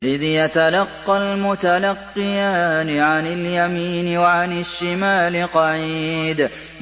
إِذْ يَتَلَقَّى الْمُتَلَقِّيَانِ عَنِ الْيَمِينِ وَعَنِ الشِّمَالِ قَعِيدٌ